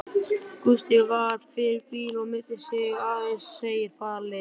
Gústi varð fyrir bíl og meiddi sig áðan, segir Palli.